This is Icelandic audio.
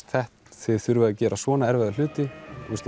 þið þurfið að gera svona erfiða hluti